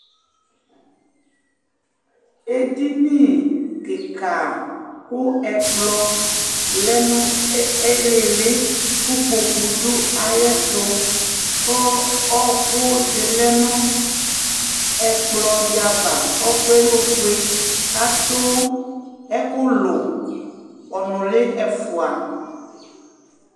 Edini kika ku ɛkplɔ lɛ nu ili ili ku ikpoku lɛ nayɛtu ku ɔkudi lɛ nu ɛkplɔdi ava ku ɔku ofue katu ɛkulu ɔnuli ɛfua